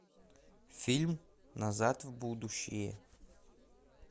фильм назад в будущее